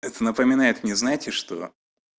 напоминает не знаете что